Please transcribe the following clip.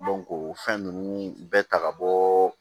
o fɛn ninnu bɛɛ ta ka bɔ